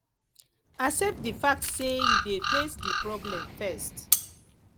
accept di fact sey you dey face di problem first